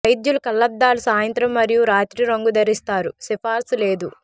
వైద్యులు కళ్లద్దాలు సాయంత్రం మరియు రాత్రి రంగు ధరిస్తారు సిఫార్సు లేదు